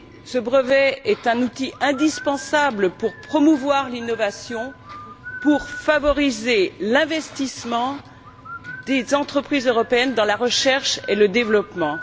Ce brevet est un outil indispensable pour promouvoir l'innovation, pour favoriser l'investissement des entreprises européennes dans la recherche et le développement.